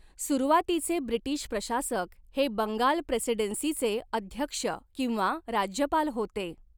सुरुवातीचे ब्रिटिश प्रशासक हे 'बंगाल प्रेसिडेन्सी'चे अध्यक्ष किंवा राज्यपाल होते.